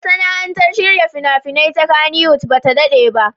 Masana'antar shirya fina-finai ta Kannywood ba ta daɗe ba.